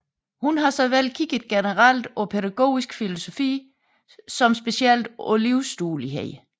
Hun har såvel kigget generelt på pædagogisk filosofi som specielt på livsduelighed